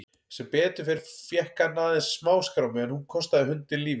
Sem betur fór fékk hann aðeins smáskrámu en hún kostaði hundinn lífið.